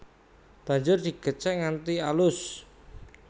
Banjur digecek nganti alus